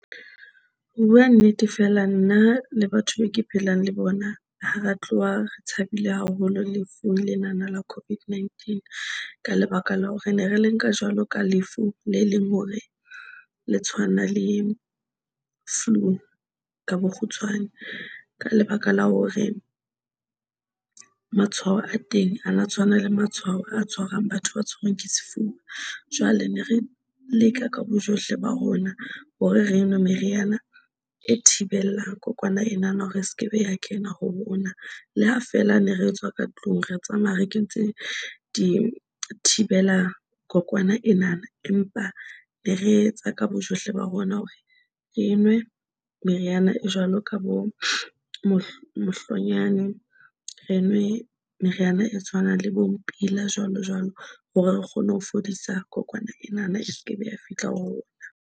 Ho bua nnete, feela, nna le batho be ke phelang le bona. Ha re tloha re tshabile haholo lefu lena la COVID-19. Ka lebaka la hore ne re le nka jwalo ka lefu le leng, hore le tshwana le flu ka bokgutshwane, ka lebaka la hore matshwao a teng a na tshwana le matshwao a tshwarang batho ba tshabang ke sefuba. Jwale ne re leka ka bojohle ba rona hore re nwe meriana e thibelang kokwana ena na hore sekebe ya kena ho rona. Le ha feela ne re etswa ka tlung re tsamaya re kentse di thibela kokwana enana, empa ne re etsa ka bojohle ba rona hore re nwe meriana e jwalo ka bo mohlonyane, re nwe meriana e tshwanang le bo mpila jwalo, jwalo hore re kgone ho fodisa kokwana ena. E se ke be ya fihla rona.